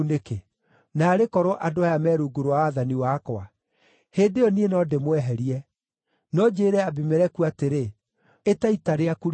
Naarĩ korwo andũ aya me rungu rwa wathani wakwa! Hĩndĩ ĩyo niĩ no ndĩmweherie. No njĩĩre Abimeleku atĩrĩ, ‘Ĩta ita rĩaku rĩothe!’ ”